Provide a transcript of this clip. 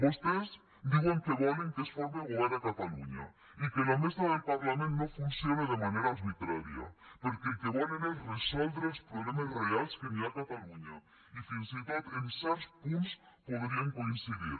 vostès diuen que volen que es forme govern a catalunya i que la mesa del parlament no funcione de manera arbitrària perquè el que volen és resoldre els problemes reals que hi ha a catalunya i fins i tot en certs punts podríem coincidir